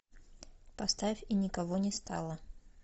поставь и никого не стало